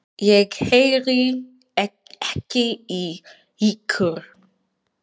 Ég heyri ekki í ykkur.